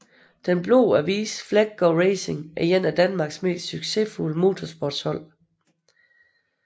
Den Blå Avis Fleggaard Racing er et af Danmarks mest successfulde motorsportshold